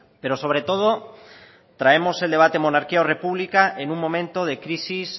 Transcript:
pero sobre todo traemos el debate monarquía o república en un momento de crisis